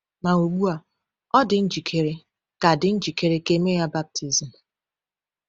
Ma ugbu a, ọ dị njikere ka dị njikere ka e mee ya baptizim.